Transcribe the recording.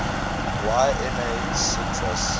y na sutras